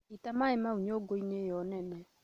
Ita maĩ mau nyũngũinĩ ĩyo nene